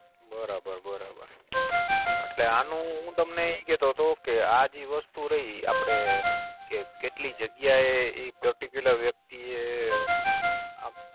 બરાબર બરાબર એટલે આનું હું તમને ઈ કેતોતો કે આ જે વસ્તુ રય આપડે કે કેટલી જગ્યા એ ઈ Particular web થી એ